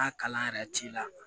N'a kalan yɛrɛ t'i la